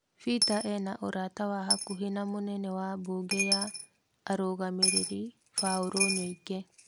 Peter ena ũrata wa hakuhĩ na mũnene wa bunge ya arũgamĩrĩri Paul Nyoike.